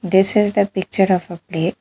This is the picture of a plate.